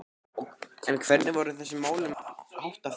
En hvernig er þessum málum háttað hér á landi?